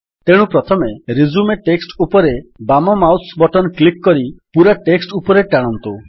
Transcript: ତେଣୁ ପ୍ରଥମେ resume text ଉପରେ ବାମ ମାଉସ୍ ବଟନ୍ କ୍ଲିକ୍ କରି ପୂରା ଟେକ୍ସଟ୍ ଉପରେ ଟାଣନ୍ତୁ